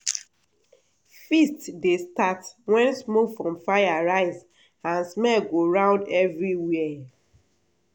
feast dey start when smoke from fire rise and smell go round everywhere.